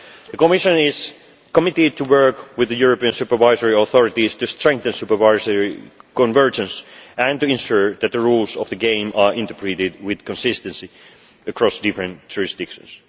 The Commission is committed to working with the European supervisory authorities to strengthen supervisory convergence and to ensure that the rules of the game are interpreted with consistency across different jurisdictions.